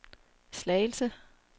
Slagelse